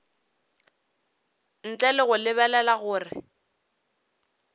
ntle le go lebelela gore